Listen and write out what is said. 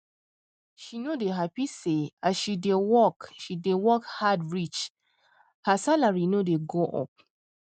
she nor dey happy say as she dey work she dey work hard reach her salary nor dey go up